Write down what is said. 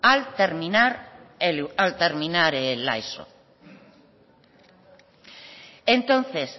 al terminar la eso entonces